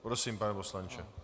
Prosím, pane poslanče.